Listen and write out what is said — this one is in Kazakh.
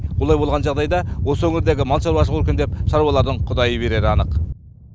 олай болған жағдайда осы өңірдегі мал шаруашылығы өркендеп шаруалардың құдайы берері анық